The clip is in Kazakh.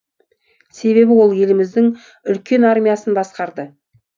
себебі ол еліміздің үлкен армиясын басқарды